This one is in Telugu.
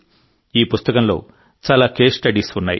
ఈ పుస్తకంలో చాలా కేస్ స్టడీస్ ఉన్నాయి